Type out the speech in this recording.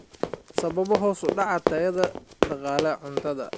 Sababo hoos u dhaca tayada dalagga cuntada.